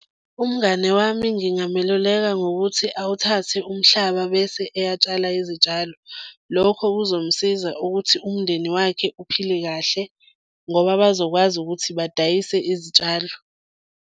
Umngane wami ngingameluleka ngokuthi awuthathe umhlaba bese eyatshala izitshalo. Lokho kuzomsiza ukuthi umndeni wakhe uphile kahle ngoba bazokwazi ukuthi badayise izitshalo.